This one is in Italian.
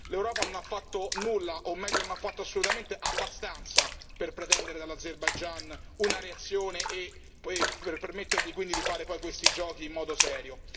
L'Europa non ha fatto nulla, o meglio non ha fatto assolutamente abbastanza per pretendere dall'Azerbaigian una reazione e poi per permettergli quindi di fare poi questi giochi in modo serio.